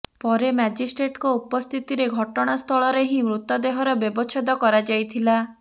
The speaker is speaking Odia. ପରେ ମାଜିଷ୍ଟ୍ରେଟଙ୍କ ଉପସ୍ଥିତିରେ ଘଟଣାସ୍ଥଳରେ ହିଁ ମୃତଦେହର ବ୍ୟବଚ୍ଛେଦ କରାଯାଇଥିଲା